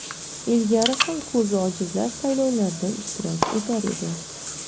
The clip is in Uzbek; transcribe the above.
Ilgari ham ko‘zi ojizlar saylovlarda ishtirok etar edi.